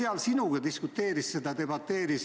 Kas ta sinuga diskuteeris selle üle?